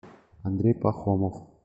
андрей пахомов